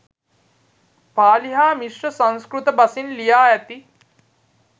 පාලි හා මිශ්‍ර සංස්කෘත බසින් ලියා ඇති